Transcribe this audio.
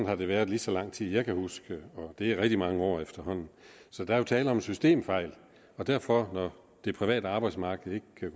har det været lige så lang tid jeg kan huske og det er rigtig mange år efterhånden så der er jo tale om en systemfejl derfor når det private arbejdsmarked ikke kan